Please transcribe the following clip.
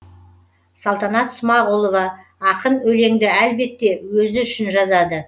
салтанат смағұлова ақын өлеңді әлбетте өзі үшін жазады